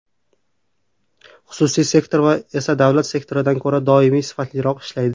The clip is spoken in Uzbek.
Xususiy sektor esa davlat sektoridan ko‘ra doimo sifatliroq ishlaydi.